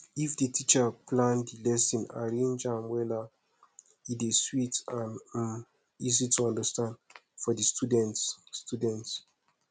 if di teacher plan di lesson arrange am wella e dey sweet and um easy to understand for di students students